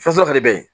Fɛnsɔrɔ de bɛ yen